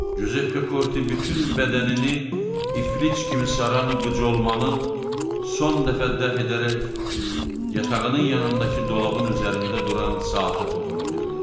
Cüzeppe Korti bütün bədənini iflic kimi saran qıcolmanı son dəfə dəf edərək yatağının yanındakı dolabın üzərində duran saata toxuna bildi.